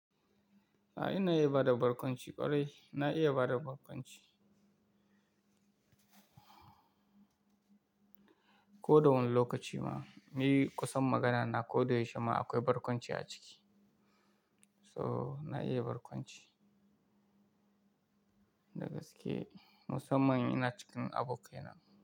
A'a ina iya bada barkwanci ƙwarai, na iya bada barkwanci. Ko da wani lokaci ma, muyi kusan magana na ko da yaushe ma akwai barkwanci a ciki. So na iya barkwanci. Da gaske, musamman ina cikin abokai na.